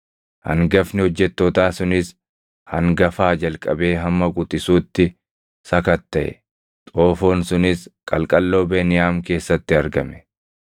Hangafni hojjettootaa sunis hangafaa jalqabee hamma quxisuutti sakattaʼe. Xoofoon sunis qalqalloo Beniyaam keessatti argame.